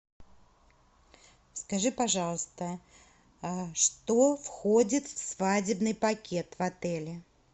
скажи пожалуйста что входит в свадебный пакет в отеле